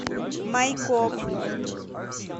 майкоп